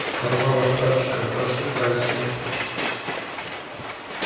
порвал остатки колбасы пальцами